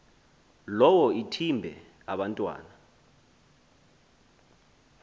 lowo ithimbe abantwana